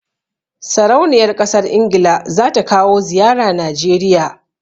Sarauniyar ƙasar Ingila za ta kawo ziyara Najeriya.